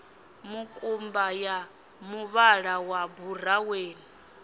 mukumba ya muvhala wa buraweni